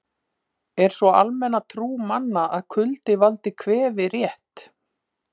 Er sú almenna trú manna að kuldi valdi kvefi rétt?